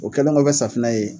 O kɛlenkɔ kɛ safinɛ ye.